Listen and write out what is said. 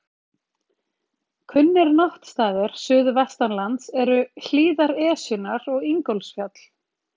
Kunnir náttstaðir suðvestan lands eru hlíðar Esjunnar og Ingólfsfjall.